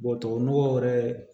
tubabu nɔgɔ yɛrɛ